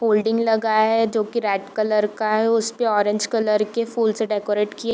folding लगा है जो की रेड कलर का है उस पे ऑरेंज कलर की फूलों से डेकोरेट किया --